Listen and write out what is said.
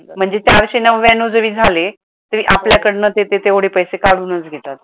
म्हणजे चारशे नाव्यान्नौ जरी झाले तरी ते आपल्या कडनं ते ते तेवढे पैसे काढूनच घेतात.